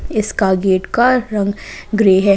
इसका गेट का रंग ग्रे है।